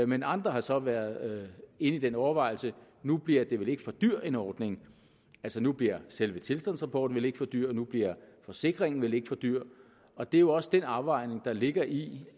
men andre har så været inde i den overvejelse nu bliver det vel ikke for dyr en ordning altså nu bliver selve tilstandsrapporten vel ikke for dyr nu bliver forsikringen vel ikke for dyr og det er jo også den afvejning der ligger i